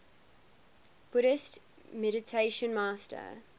buddhist meditation master